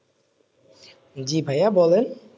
জি ভাইয়া বলেন,